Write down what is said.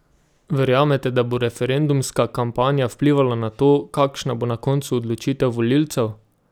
Verjamete, da bo referendumska kampanja vplivala na to, kakšna bo na koncu odločitev volivcev?